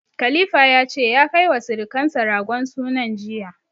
Khalifa ya ce ya kai wa sirukansa ragon sunan jiya.